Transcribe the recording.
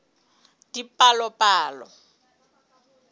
dipalopalo